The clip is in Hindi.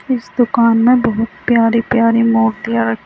इस दुकान में बहुत प्यारी प्यारी मूर्तियां रखी--